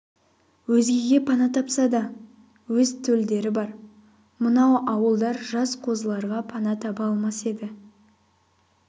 өзгеге пана тапса да өз төлдері бар мынау ауылдар жас қозыларға пана таба алмас еді